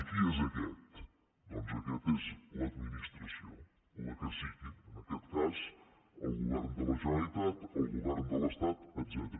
i qui és a quest doncs aquest és l’administració la que sigui en aquest cas el govern de la generalitat el govern de l’estat etcètera